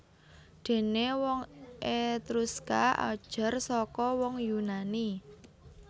Déné wong Etruska ajar saka wong Yunani